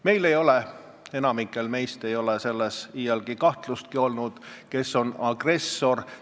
Meil ei ole, enamikul meist ei ole iial kahtlustki olnud selles, kes on agressor.